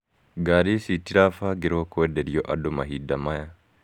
Ngari ici itirabangĩrwo kũenderio andũ mahinda maya.